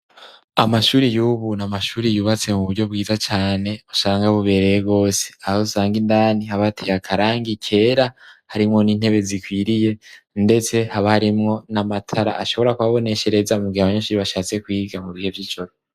Amashuri yubu nta amashuri yubatse mu buryo bwiza cyane asanga bubereye rwose . Aho usanga indani habateye akarangi kera harimwo n'intebe zikwiriye ndetse habaharimwo na matara ashobora kubaboneshereza mu gihabanyeshuri bashatse kwiga mu bihe vy'ijoro.